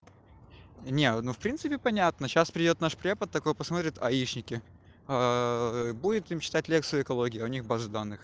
не ну в принципе понятно сейчас придёт наш преподаватель такой посмотрит аишники будет им читать лекцию экология а у них базы данных